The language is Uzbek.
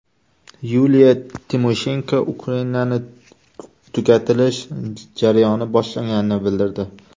Yuliya Timoshenko Ukrainaning tugatilish jarayoni boshlanganini bildirdi.